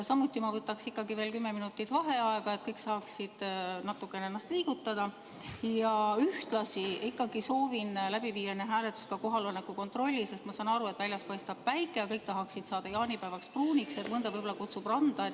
Samuti ma võtaks kümme minutit vaheaega, et kõik saaksid natukene ennast liigutada, ja ühtlasi soovin enne hääletust läbi viia kohaloleku kontrolli, sest ma saan aru, et väljas paistab päike ja kõik tahaksid saada jaanipäevaks pruuniks, mõnda võib-olla kutsub ka randa.